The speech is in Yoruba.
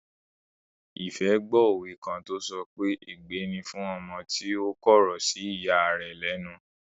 Ìfẹ́ gbó òwe kan tó sọ pé "ègbé ni fún ọmọ tí ó kọ̀rọ̀ sí ìya rẹ̀ lẹ́nu"